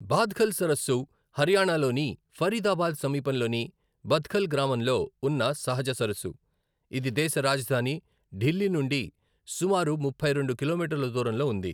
బాద్ఖల్ సరస్సు హర్యానా లోని ఫరీదాబాద్ సమీపంలోని బద్ఖల్ గ్రామంలో ఉన్న సహజ సరస్సు, ఇది దేశ రాజధాని ఢిల్లీ నుండి సుమారు ముప్పై రెండు కిలోమీటర్ల దూరంలో ఉంది.